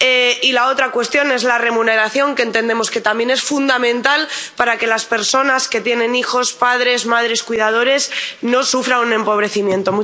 Y la otra cuestión es la remuneración, que entendemos que también es fundamental para que las personas que tienen hijos —padres, madres y cuidadores— no sufran un empobrecimiento.